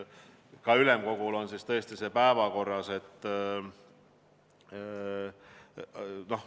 Ka ülemkogul on see päevakorras.